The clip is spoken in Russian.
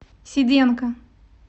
сиденко